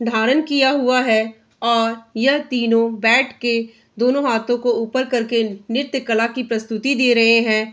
धारण किया हुआ है और यह तीनों बैठ के दोनो हाथो को ऊपर करके नृत्यकला की प्रस्तुति दे रहे हैं।